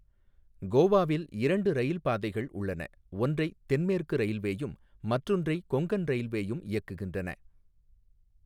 கோவாவில் இரண்டு ரயில் பாதைகள் உள்ளன, ஒன்றை தென்மேற்கு ரயில்வேயும் மற்றொன்றை கொங்கன் ரயில்வேயும் இயக்குகின்றன.